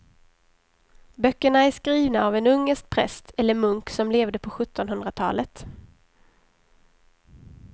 Böckerna är skrivna av en ungersk präst eller munk som levde på sjuttonhundratalet.